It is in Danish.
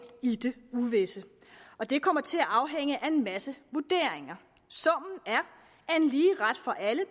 i det uvisse og det kommer til at afhænge af en masse vurderinger summen er at en lige ret for alle